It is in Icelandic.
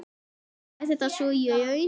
Var þetta svo í raun?